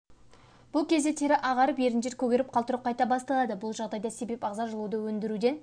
бұл кезде тері ағарып еріндер көгеріп қалтырау қайта басталады бұл жағдайға себеп ағза жылуды өндіруден